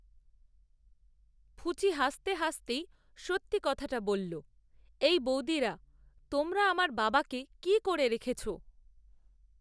ফুচি হাসতে হাসতেই সত্যি কথাটা বলল, এই বৌদিরা, তোমরা আমার বাবাকে কী করে রেখেছ?